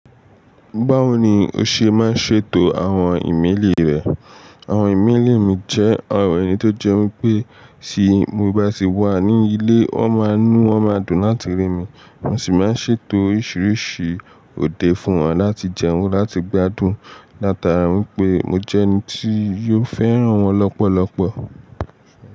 Báwo ni o ṣe máa ń ṣètò àwọn ìmẹ́lì rẹ? Àwọn ìmẹ́lì mi jẹ́ àwọn ẹyii tó jẹ́ wípé ṣé mo bá sì wà ní ilé, wón máa ń inu wón máa dùn láti rí mi. Mo sì máa ń ṣètò oríṣiríṣi òde fún wọn láti jẹun, láti gbádùn, látara wípé mo jẹ́ ẹni tí yóò fẹ́ràn wọn lọ́pọ̀lọ́pọ̀.